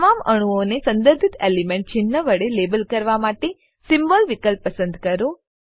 તમામ અણુઓને સંદર્ભિત એલિમેન્ટ ચિન્હ વડે લેબલ કરવા માટે સિમ્બોલ વિકલ્પ પસંદ કરો